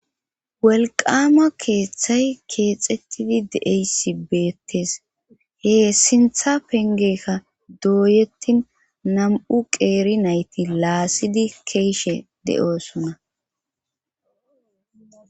welqama keeththay keexettidi deeysi beettes hee sintha pengekka dooyettin nam7u qeeri nayti laassidi keeshe de7osunna